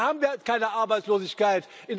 Da haben wir keine Arbeitslosigkeit.